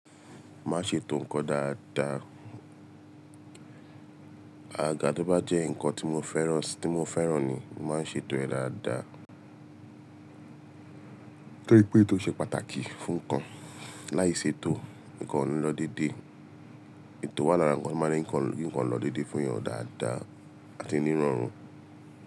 Má ṣe ètò nǹkan dáadáa. Àgaga tó bá jẹ́ ǹkan tí mo fẹ́ràn, tí mo fẹ́ràn ni, máa ṣe ètò rẹ̀ dáadáa. Torí pé tó ṣe pàtàkì fún nǹkan. Láì ṣètò ǹkan òní lọ dédé ètò wà. Lára ǹkan tó má ń jẹ́ kí ǹkan lọ dédé fún èyàn dáada àti niran ran.